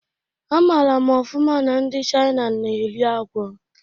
Amara m ofụma na ndi Chaina na-eri agwọ